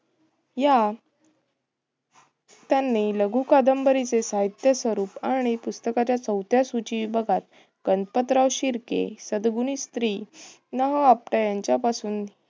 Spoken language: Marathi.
या त्यांनी लघु कादंबरीचे साहित्य स्वरूप आणि पुस्तकाचा चवथ्या सूची विभागात गणपतराव शिर्के सद्गुणी स्त्री आपटे यांच्यापासून